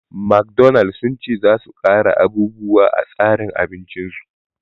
McDonald sun ce za su ƙara abubuwa a tsarin abincin su